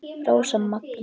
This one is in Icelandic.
Rósa Maggý.